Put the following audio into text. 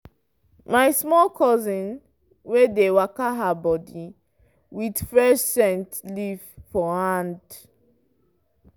my small cousin dey waka her body with fresh scent leaf for hand.